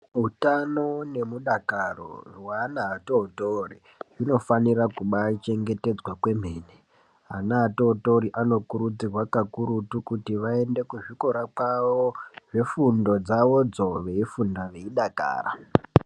Hutano nemudakaro ,hweana vadori dori zvinofanira kubaachengetedzwa kwemene. Ana adori dori anokurudzirwa kakurutu vaende kuzvikora zvavo zvefundo dzavo veyifunda veyidakara.